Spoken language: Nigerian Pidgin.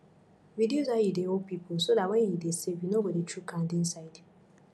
reduce how you dey owe pipo so dat when you dey save you no go dey chook hand inside